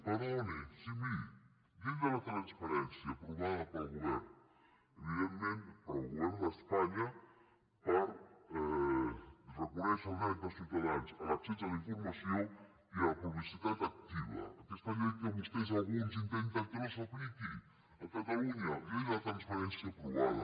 perdoni sí miri llei de transparència aprovada pel govern evidentment pel govern d’espanya per reconèixer el dret dels ciutadans a l’accés a la informació i a la publicitat activa aquesta llei que vostès alguns intenten que no s’apliqui a catalunya llei de transparència aprovada